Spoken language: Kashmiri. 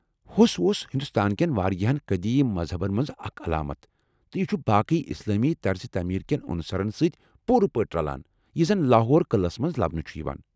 ہوٚس اوس ہندوستان کین واریاہن قدیٖم مذہبن منٛز اكھ علامتھ ، تہٕ یہِ چُھ باقٕی اسلٲمی طرز تعمیٖر کٮ۪ن عنصرن سۭتۍ پوٗرٕ پٲٹھۍ رلان یہِ زن لاہور قلعس منٛز لبنہٕ چُھ یوان ۔